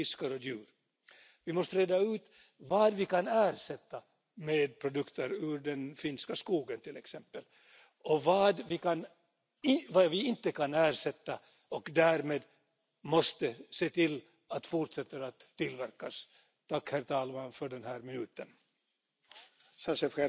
It is well known that all plastics create fragments as they degrade but we know that fragments of ordinary plastic could accumulate for decades, and perhaps for as long as 100 years as micro plastics, before they become biodegradable. New plastic goods therefore urgently need to be modified at manufacture so that if